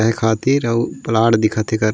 एक हाथी अउ प्लाट दिखत हे एकर.--